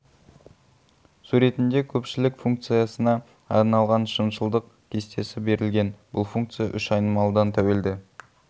суретінде көпшілік функциясына арналған шыншылдық кестесі берілген бұл функция үш айнымалыдан тәуелді